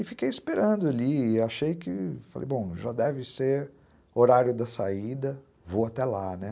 E fiquei esperando ali, achei que, falei bom, já deve ser horário da saída, vou até lá né.